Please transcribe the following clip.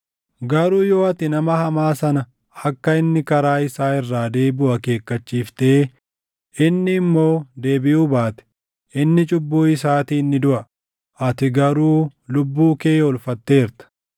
Garuu yoo ati nama hamaa sana akka inni karaa isaa irraa deebiʼu akeekkachiiftee inni immoo deebiʼuu baate, inni cubbuu isaatiin ni duʼa; ati garuu lubbuu kee oolfatteerta.